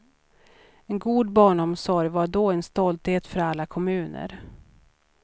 En god barnomsorg var då en stolthet för alla kommuner.